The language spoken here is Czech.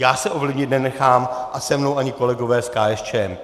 Já se ovlivnit nenechám a se mnou ani kolegové z KSČM.